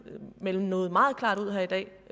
melde noget meget klart ud her i dag